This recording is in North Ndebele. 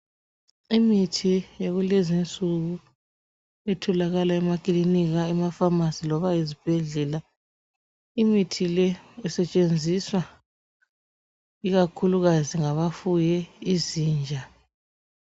Imithi yalezinsuku etholakala emakilinika amafamasi loba ezibhedlela Imithi le esetshenziswa ikakhulukazi ngabafuye izinja.